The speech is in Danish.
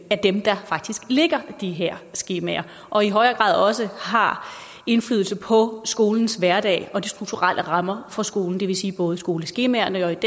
dem der faktisk lægger de her skemaer og i højere grad også har indflydelse på skolens hverdag og de strukturelle rammer for skolen det vil sige både skoleskemaerne og